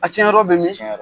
A tiɲɛ yɔrɔ bɛ min? Tiɲɛn la.